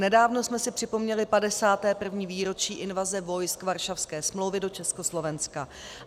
Nedávno jsme si připomněli 51. výročí invaze vojsk Varšavské smlouvy do Československa.